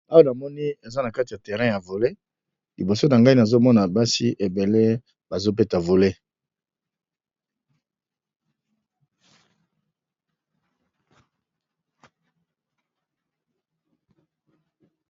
Awa namoni eza na kati ya terrain ya vole liboso na ngai nazomona basi ebele bazo beta vole.